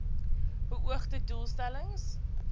beoogde doel stellings